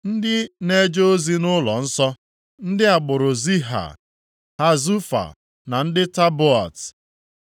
Ndị na-eje ozi nʼụlọnsọ: ndị agbụrụ Ziha, Hasufa na ndị Tabaot,